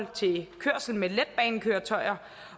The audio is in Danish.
til kørsel med letbanekøretøjer